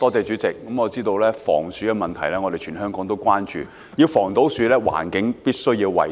主席，我知道全香港也關注防鼠問題，要做到防鼠，環境必須要衞生。